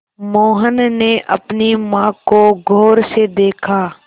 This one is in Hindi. मोहन ने अपनी माँ को गौर से देखा